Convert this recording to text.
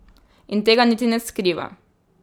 In tega niti ne skriva.